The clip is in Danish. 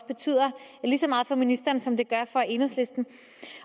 betyder lige så meget for ministeren som det gør for enhedslisten